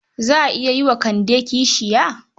Za a yi wa Kande kishiya.